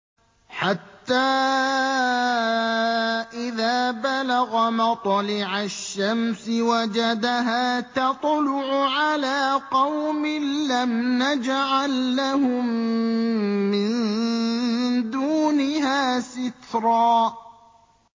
حَتَّىٰ إِذَا بَلَغَ مَطْلِعَ الشَّمْسِ وَجَدَهَا تَطْلُعُ عَلَىٰ قَوْمٍ لَّمْ نَجْعَل لَّهُم مِّن دُونِهَا سِتْرًا